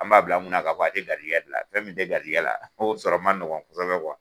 An b'a bila n kunna k'a fɔ a tɛ garijigɛ la, fɛn min tɛ garijigɛ la o sɔrɔ man nɔgɔ kuwa.